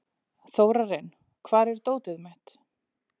Þórarinn, hvar er dótið mitt?